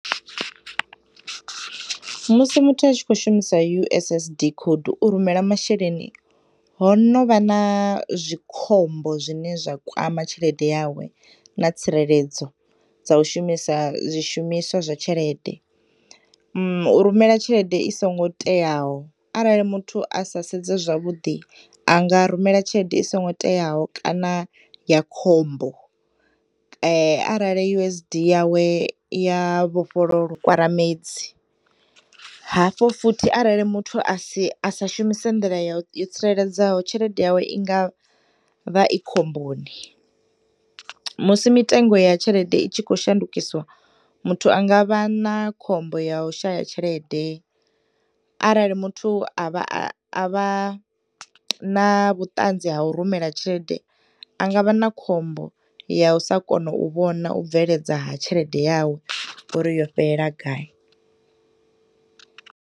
Musi muthu a tshi khou shumisa u_s_s_d code u rumela masheleni, honovha na zwikhombo zwine zwa kwama tshelede yawe na tsireledzo dza u shumisa zwi shumiswa zwa tshelede. U rumela tshelede isongo teaho, arali muthu asa sedze zwavhuḓi anga rumela tshelede isongo teyaho kana ya khombo arali usd yawe yafhol . Hafho futhi arali muthu asi asa shumise nḓila yo tsireledzeaho tshelede yawe ingavha i khomboni. Musi mitengo ya tshelede itshi khoushandukiswa muthu angavha na khombo ya ushaya tshelede, arali muthu avha, a, avha na vhuṱanzi ha u rumela tshelede angavha na khombo ya u sakona u vhona u bveledza ha tshelede yawe uri yo fhelela gayi.